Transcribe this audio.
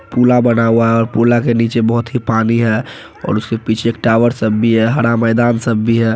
पुला बना हुआ है और पुला के नीचे बहुत ही पानी है और उसके पीछे टावर सब भी है हरा मैदान सब भी है।